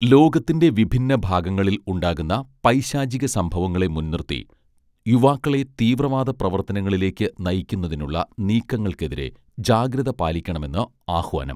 ലോകത്തിന്റെ വിഭിന്ന ഭാഗങ്ങളിൽ ഉണ്ടാകുന്ന പൈശാചിക സംഭവങ്ങളെ മുൻനിർത്തി യുവാക്കളെ തീവ്രവാദ പ്രവർത്തനങ്ങളിലേക്ക് നയിക്കുന്നതിനുള്ള നീക്കങ്ങൾക്കെതിരെ ജാഗ്രത പാലിക്കണമെന്ന് ആഹ്വാനം